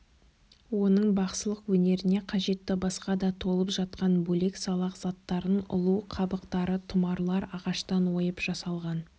оның бақсылық өнеріне қажетті басқа да толып жатқан бөлек-салақ заттарын ұлу қабықтары тұмарлар ағаштан ойып жасалған